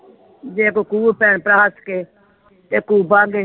ਜੇ ਕੁ ਕੂ ਭੈਣ ਭਰਾ ਹੱਸ ਕੇ ਤੇ ਕੂਬਾ ਤੇ।